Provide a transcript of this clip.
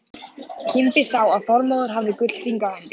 Kimbi sá að Þormóður hafði gullhring á hendi.